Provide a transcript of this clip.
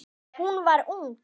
Hún var ung.